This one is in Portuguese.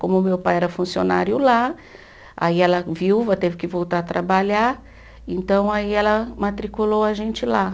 Como meu pai era funcionário lá, aí ela viúva teve que voltar a trabalhar, então aí ela matriculou a gente lá.